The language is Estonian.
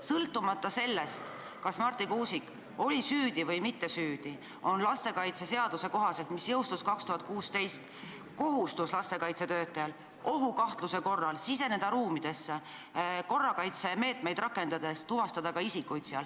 Sõltumata sellest, kas Marti Kuusik oli süüdi või mitte, on lastekaitseseaduse kohaselt, mis jõustus 2016, lastekaitsetöötajal kohustus ohukahtluse korral siseneda ruumidesse ja korrakaitsemeetmeid võttes tuvastada seal ka isikuid.